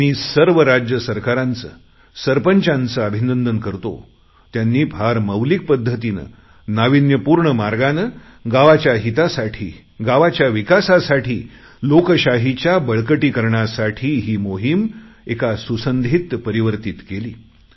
मी सर्व राज्य सरकारांचं सरपंचांचं अभिनंदन करतो त्यांनी फार मौलिक पध्दतीने नाविन्य पूर्ण मार्गाने गावाच्या हितासाठी गावाच्या विकासासाठी लोकशाहीच्या बळकटीकरणासाठी ही मोहिम मला सुसंधीत परिवर्तित केली